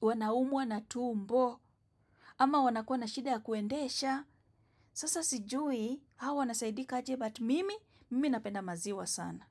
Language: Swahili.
wanaumwa na tumbo ama wanakuwa na shida ya kuendesha, sasa sijui hawa wanasaidika aje but mimi minapenda maziwa sana.